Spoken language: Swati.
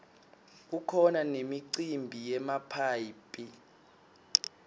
kukhona nemicimbi yemaphayhi